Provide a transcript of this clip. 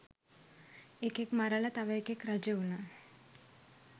එකෙක් මරලා තව එකෙක් රජවුනා